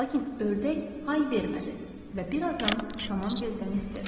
Lakin ördək hay vermədi və birazdan tamam gözdən itdi.